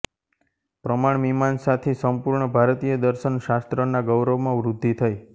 પ્રમાણમીમાંસા થી સંપૂર્ણ ભારતીય દર્શન શાસ્ત્રના ગૌરવમાં વૃદ્ધિ થઇ